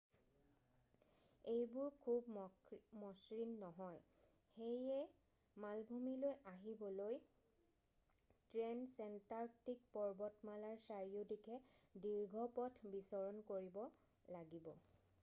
এইবোৰ খুব মসৃণ নহয় সেয়ে মালভূমিলৈ আহিবলৈ ট্ৰেনছেনটাৰ্কটিক পৰ্বতমালাৰ চাৰিওদিশে দীৰ্ঘ পথ বিচৰণ কৰিব লাগিব